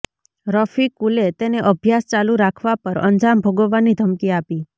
રફીકુલે તેને અભ્યાસ ચાલુ રાખવા પર અંજામ ભોગવવાની ઘમકી આપી